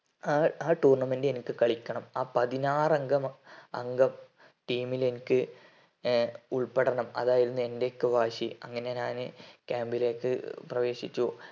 ആ ആ tournament എനിക്ക് കളിക്കണം ആ പാതിനാറങ്കം അങ്കം team ലെനിക്ക് ഉൾപെടണം അതൊക്കെ ആയിരുന്നു എറെ ഒക്കെ വാശി അങ്ങനെ ഞാന് camb ലേക്ക് പ്രവേശിച്ചു